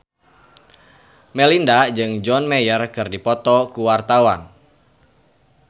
Melinda jeung John Mayer keur dipoto ku wartawan